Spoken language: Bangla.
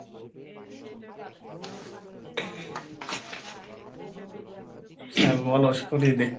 হ্যাঁ বলো শুনি দেখি।